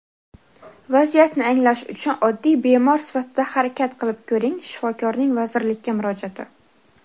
"Vaziyatni anglash uchun oddiy bemor sifatida harakat qilib ko‘ring" – Shifokorning vazirlikka murojaati.